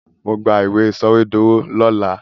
Màá gba ìwé sọwedowo lọ́la.